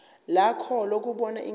lakho lokubona ingane